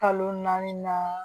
Kalo naani na